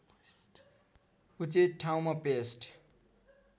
उचित ठाउँमा पेस्ट